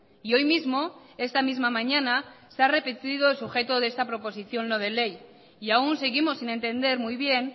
y hoy mismo esta misma mañana se ha repetido el sujeto de esta proposición no de ley y aún seguimos sin entender muy bien